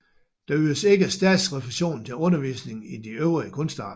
Der ydes ikke statsrefusion til undervisning i de øvrige kunstarter